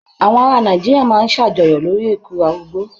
Àwọn ará Nàìjíríà máa ń ṣàjọyọ̀ lórí ikú arúgbó.